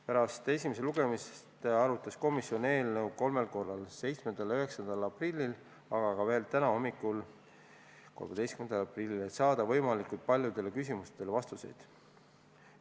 Pärast esimest lugemist arutas komisjon eelnõu kolmel korral: 7. ja 9. aprillil, aga ka täna, 13. aprilli hommikul, et saada võimalikult paljudele küsimustele vastused.